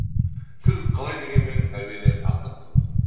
сіз қалай дегенмен әуелі ақынсыз